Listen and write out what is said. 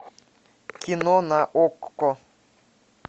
кино на окко